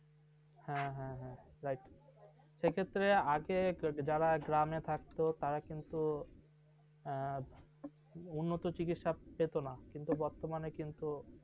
হ্যাঁ হ্যাঁ হ্যাঁ, এ ক্ষেত্রে আগে থেকে যারা গ্রামে থাকত, তারা কিন্তু, উন্নত চিকিৎসার পেত না, কিন্তু বর্তমানে কিন্তু